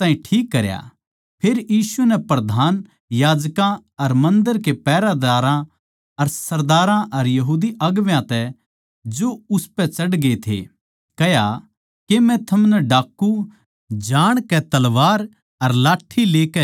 फेर यीशु नै प्रधान याजकां अर मन्दर कै पैहरेदारां कै सरदारां अर यहूदी अगुवां तै जो उसपै चढ़ ग्ये थे कह्या के थम मन्नै डाकू जाणकै तलवार अर लाट्ठी लेकै लिकड़े सो